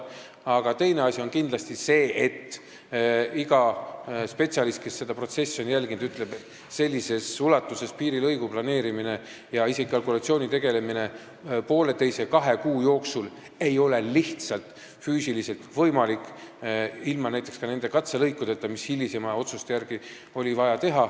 Aga teine asi on kindlasti see, et kõik spetsialistid, kes seda protsessi on jälginud, ütlevad, et sellises ulatuses piirilõiku planeerida ja isegi kalkulatsiooni poolteise-kahe kuu jooksul teha ei ole lihtsalt füüsiliselt võimalik, ka näiteks ilma nende katselõikudeta, mida hilisema otsuse järgi oli vaja teha.